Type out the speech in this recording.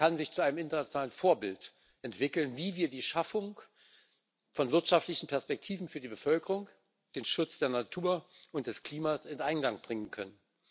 Es kann sich zu einem internationalen Vorbild entwickeln, wie wir die Schaffung von wirtschaftlichen Perspektiven für die Bevölkerung und den Schutz der Natur und des Klimas in Einklang bringen können.